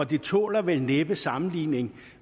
det tåler vel næppe sammenligning